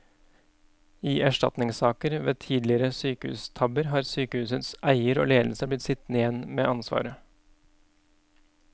I erstatningssaker ved tidligere sykehustabber har sykehusets eier og ledelse blitt sittende igjen med ansvaret.